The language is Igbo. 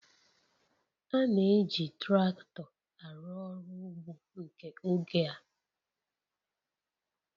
A na-eji traktọ arụ ọrụ ugbo nke oge a.